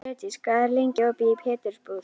Freydís, hvað er lengi opið í Pétursbúð?